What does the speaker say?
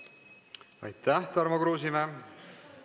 Aitäh, Tarmo Kruusimäe!